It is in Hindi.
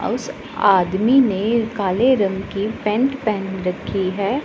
उस आदमी ने काले रंग की पेंट पहन रखी है।